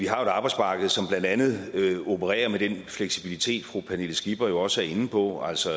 har et arbejdsmarked som blandt andet opererer med den fleksibilitet fru pernille skipper også er inde på altså